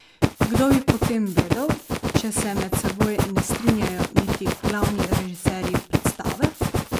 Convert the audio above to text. Kdo bi potem vedel, če se med seboj ne strinjajo niti glavni režiserji predstave?